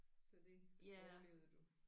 Så det det overlevede du